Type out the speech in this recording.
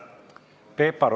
Peep Aru.